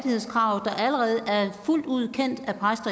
fuldt ud kendt